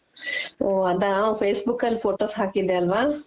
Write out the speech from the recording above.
ಓ ಅದ facebook ಅಲ್ಲಿ photos ಹಾಕಿದ್ದೆ ಅಲ್ವ.